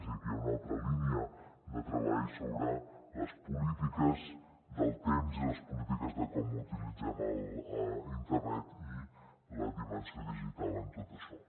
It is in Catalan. i aquí hi ha una altra línia de treball sobre les polítiques del temps i les polítiques de com utilitzem internet i la dimensió digital en tot això